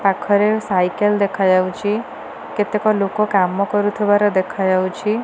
ପାଖରେ ସାଇକେଲ୍ ଦେଖାଯାଉଚି କେତେକ ଲୋକ କାମ କରୁଥୁବାର ଦେଖାଯାଉଚି ।